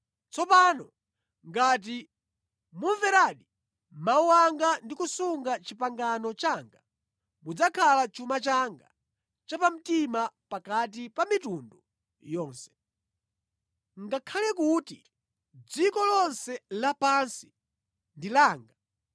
Tsopano, ngati mumveradi mawu anga ndi kusunga pangano langa, mudzakhala chuma changa chapamtima pakati pa mitundu yonse. Ngakhale kuti dziko lonse lapansi ndi langa,